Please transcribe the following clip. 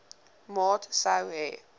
maat sou hê